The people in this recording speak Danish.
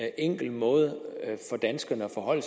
enkel måde for danskerne at forholde